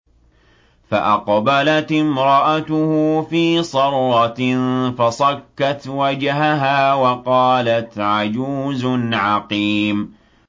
فَأَقْبَلَتِ امْرَأَتُهُ فِي صَرَّةٍ فَصَكَّتْ وَجْهَهَا وَقَالَتْ عَجُوزٌ عَقِيمٌ